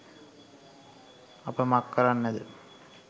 අප මක් කරන්නද.